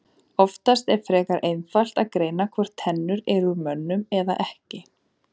Oftast er frekar einfalt að greina hvort tennur eru úr mönnum eða ekki.